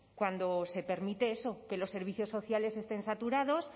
cuando se permite eso que los servicios sociales estén saturados